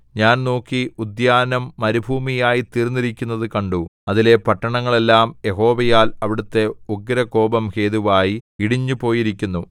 ഞാൻ നോക്കി ഉദ്യാനം മരുഭൂമിയായിത്തീർന്നിരിക്കുന്നതു കണ്ടു അതിലെ പട്ടണങ്ങളെല്ലാം യഹോവയാൽ അവിടുത്തെ ഉഗ്രകോപം ഹേതുവായി ഇടിഞ്ഞുപോയിരിക്കുന്നു